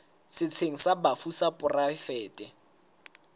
setsheng sa bafu sa poraefete